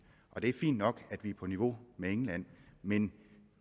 det er fint nok at vi er på niveau med england men